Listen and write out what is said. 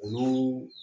Olu